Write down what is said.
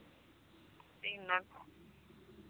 ਤਿਨ